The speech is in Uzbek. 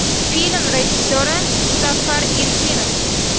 Film rejissyori Muzaffar Erkinov.